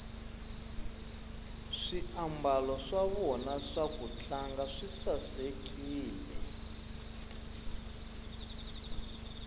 swiambalo swa vona swa kutlanga swi sasekile